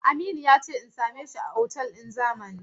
Aminu ya ce in same shi a otal ɗin Zamani.